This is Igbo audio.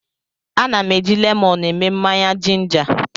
Ana m eji lemọnụ eme mmanya jinja.